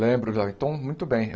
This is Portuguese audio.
Lembro, então, muito bem.